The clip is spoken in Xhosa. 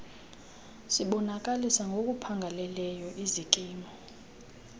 sibonakalisa ngokuphangaleleyo izikimu